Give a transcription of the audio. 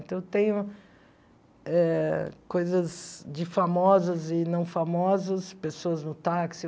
Então, eu tenho eh coisas de famosas e não famosas, pessoas no táxi.